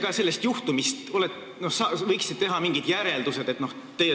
Kas te ise võiksite ka teha sellest juhtumist mingid järeldused?